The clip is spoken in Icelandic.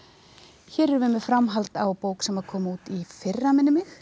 hér erum við með framhald á bók sem kom út í fyrra minnir mig sem